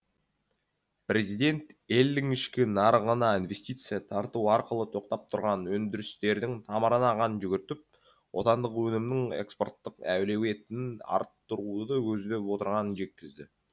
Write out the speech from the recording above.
президент елдің ішкі нарығына инвестиция тарту арқылы тоқтап тұрған өндірістердің тамырына қан жүгіртіп отандық өнімнің экспорттық әлеуетін арттыруды көздеп отырғанын жеткізді